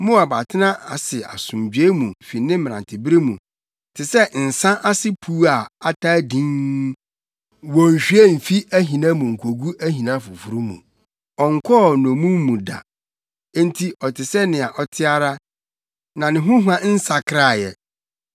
“Moab atena ase asomdwoe mu fi ne mmerantebere mu, te sɛ nsa ase puw a ataa dinn, wonnhwie mfi ahina mu nkogu ahina foforo mu, ɔnkɔɔ nnommum mu da. Enti ɔte sɛ nea ɔte ara, na ne ho hua nsakrae ɛ.